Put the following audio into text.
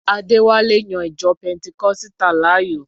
Adéwálé yan ìjọ pẹntikọ́sítà láàyò.